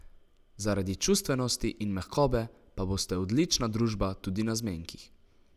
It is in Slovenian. Zaradi čustvenosti in mehkobe pa boste odlična družba tudi na zmenkih.